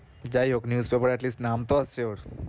যায় হোক news paper এ at least নাম তো আসছে ওর